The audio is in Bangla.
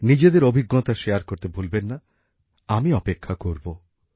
নিজেদের অভিজ্ঞতা শেয়ার করতে ভুলবেন না আমি অপেক্ষা করব